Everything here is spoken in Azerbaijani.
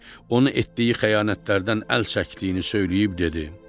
Onu etdiyi xəyanətlərdən əl çəkdiyini söyləyib dedi: